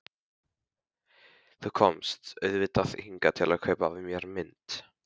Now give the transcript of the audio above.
Þú komst auðvitað hingað til að kaupa af mér mynd.